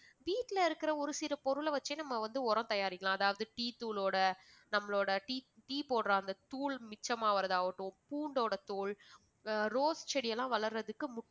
வீட்ல இருக்கிற ஒரு சில பொருள வெச்சே நம்ம வந்து உரம் தயாரிக்கலாம். அதாவது tea தூளோட நம்மளோட tea tea போடுற அந்த தூள் மிச்சமாவறதாவட்டும் பூண்டோட தோல் rose செடியெல்லாம் வளர்ற்துக்கு